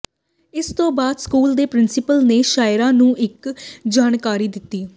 ਇਸ ਤੋਂ ਬਾਅਦ ਸਕੂਲ ਦੇ ਪ੍ਰਿੰਸੀਪਲ ਨੇ ਸ਼ਾਇਰਾ ਨੂੰ ਇਹ ਜਾਣਕਾਰੀ ਦਿੱਤੀ